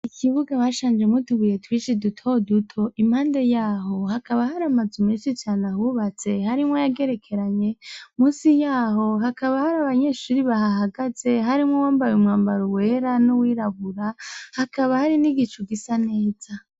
Ikibuga bashanjemwo utubuye twinshi duto duto .Impahande y'aho hakaba hari amazu menshi cane ahubatse, harimwo ayagerekeranye. Munsi y'aho hakaba har'abanyeshuri bahahagaze harimwo uwambaye umwambaro wera n'uwirabura, hakaba hari n'igicu gisa neza .